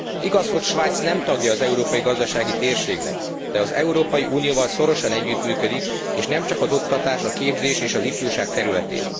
Igaz, hogy Svájc nem tagja az európai gazdasági térségnek, de az Európai Unióval szorosan együttműködik, és nemcsak az oktatás, a képzés és az ifjúság területén.